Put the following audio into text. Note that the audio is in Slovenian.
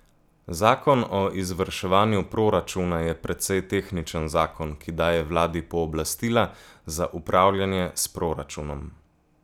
Zakon o izvrševanju proračuna je precej tehničen zakon, ki daje vladi pooblastila za upravljanje s proračunom.